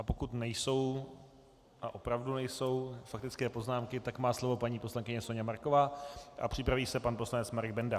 A pokud nejsou, a opravdu nejsou, faktické poznámky, tak má slovo paní poslankyně Soňa Marková a připraví se pan poslanec Marek Benda.